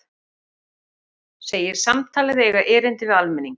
Segir samtalið eiga erindi við almenning